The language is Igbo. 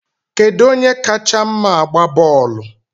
Kedu onye kacha mma agba bọọlụ?